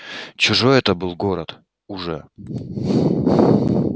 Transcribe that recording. чужой это был город уже